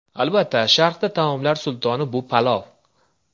Albatta, Sharqda taomlar sultoni bu palov.